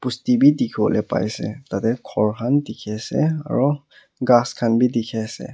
basti be dikhi bole paise tate ghor khan dikhi ase aru ghas khan be dikhi ase.